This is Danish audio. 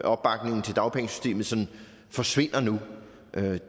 opbakningen til dagpengesystemet sådan forsvinder nu